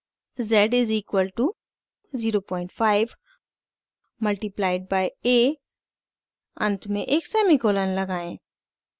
z is equal to 05 multiplied by a अंत में एक सेमीकोलन लगाएं